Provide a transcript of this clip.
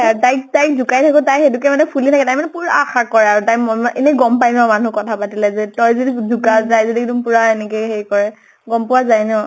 য়া তাইক তাইক জোকাই থাকো, তাই সেইতো কে ফুলি থাকে । তাই মানে পুৰা আশা কৰে আৰু । তাই মন মানে, এনেই গʼম পাই ন, মানুহ কথা পাতিলে যে, তই যদি জোকাও তাই যদি এক্দম পুৰা এনেকে হেৰি কৰে, গʼম পোৱা যায় ন ?